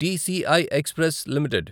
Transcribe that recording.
TCI express limited